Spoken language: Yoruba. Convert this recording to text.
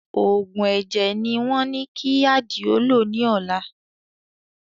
Òògùn ẹ̀jẹ̀ ni wọ́n ní kí Àdìó lò ní ọ̀la